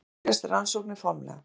Þá hefjast rannsóknir formlega.